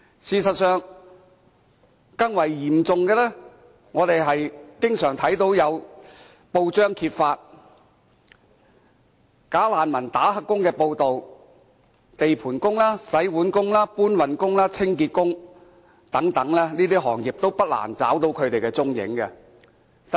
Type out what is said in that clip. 事實上，更為嚴重的是，我們經常看到報章揭發"假難民"做"黑工"的報道，包括地盤工、洗碗工、搬運工、清潔工等，在這些行業不難找到他們的蹤影。